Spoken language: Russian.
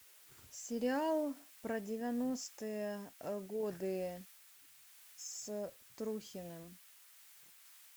сериал про девяностые годы с трухиным